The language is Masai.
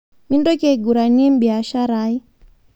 Mintoki aiguranie beashara aai